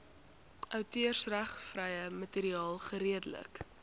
outeursregvrye materiaal geredelik